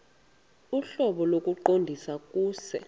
ohlobo lokuqondisa kuse